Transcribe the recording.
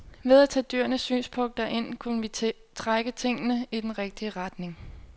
Ved at tage dyrenes synspunkter ind kunne vi trække tingene i den rigtige retning.